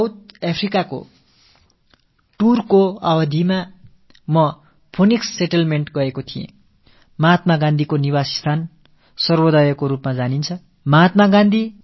எனது தென்னாப்பிரிக்க பயணத்தின் ஒரு பகுதியாக நான் பீனிக்ஸ் குடியிருப்புக்குச் செல்ல நேர்ந்தது காந்தியடிகள் வசித்த இடம் சர்வோதய் என்ற பெயரில் அழைக்கப்படுகிறது